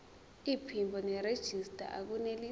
iphimbo nerejista akunelisi